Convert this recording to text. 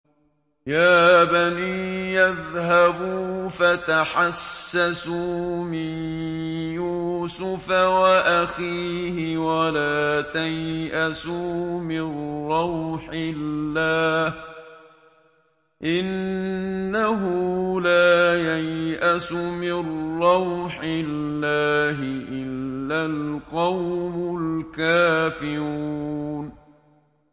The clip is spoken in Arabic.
يَا بَنِيَّ اذْهَبُوا فَتَحَسَّسُوا مِن يُوسُفَ وَأَخِيهِ وَلَا تَيْأَسُوا مِن رَّوْحِ اللَّهِ ۖ إِنَّهُ لَا يَيْأَسُ مِن رَّوْحِ اللَّهِ إِلَّا الْقَوْمُ الْكَافِرُونَ